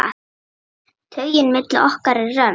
Taugin milli okkar er römm.